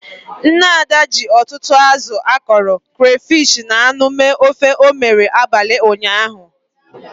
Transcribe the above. Nne Ada ji ọtụtụ azụ akọrọ, crayfish na anụ mee ofe o mere abalị ụnyaahụ.